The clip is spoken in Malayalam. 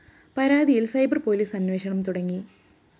പരാതിയില്‍ സൈബര്‍ പോലീസ് അന്വേഷണം തുടങ്ങി